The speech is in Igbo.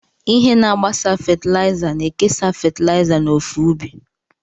Ihe na-agbasa fatịlaịza na-ekesa fatịlaịza n'ofe ubi.